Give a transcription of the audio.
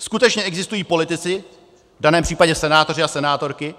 Skutečně existují politici, v daném případě senátoři a senátorky,